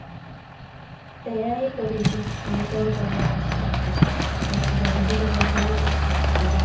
ସେଇୟା ହିଁ କରୁଛି, ଆଉ କଣ କରିବାର ଅଛି ବାକି ଦେଖ ଛଡା ଆଉ କଣ ଘଟିବ